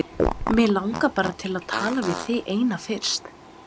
Mig langar bara til að tala við þig eina fyrst.